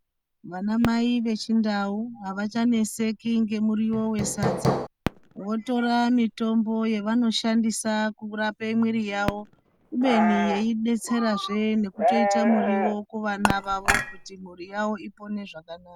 Vanamai vechiNdau avachaneseki ngemiriwo wesadza. Votora mitombo yavanoshandisa kurape mwiri yawo kubeni yeidetserazve nekutoita muriwo kuvana vavo kuti mhuri yawo ipone zvakanaka.